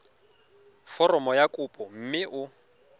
foromo ya kopo mme o